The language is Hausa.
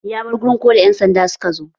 Ya bar wurin koda ƴan sanda suka zo.